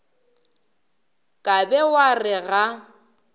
ka be wa re ga